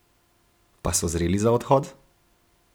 Pa so zreli za odhod?